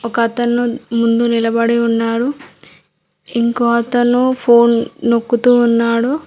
ఒకతను ముందు నిలబడి ఉన్నాడు ఇంకో అతను ఫోన్ నొక్కుతూ ఉన్నాడు.